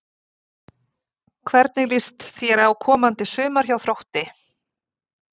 Hvernig líst þér á komandi sumar hjá Þrótti?